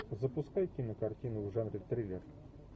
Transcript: запускай кинокартину в жанре триллер